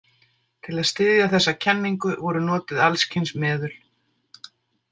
Til að styðja þessa kenningu voru notuð alls kyns meðul.